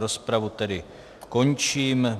Rozpravu tedy končím.